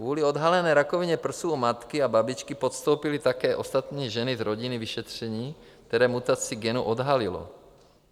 Kvůli odhalené rakovině prsu u matky a babičky podstoupily také ostatní ženy z rodiny vyšetření, které mutaci genu odhalilo.